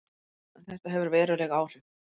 En þetta hefur veruleg áhrif.